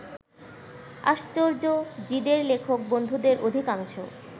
আশ্চর্য, জিদের লেখক বন্ধুদের অধিকাংশ